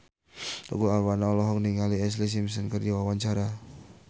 Tukul Arwana olohok ningali Ashlee Simpson keur diwawancara